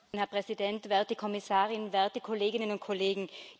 Herr Präsident, werte Kommissarin, werte Kolleginnen und Kollegen!